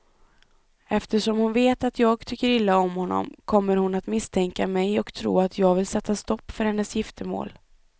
Eftersom hon vet att jag tycker illa om honom kommer hon att misstänka mig och tro att jag vill sätta stopp för hennes giftermål.